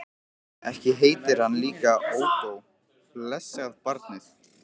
Ekki heitir hann líka Ódó, blessað barnið.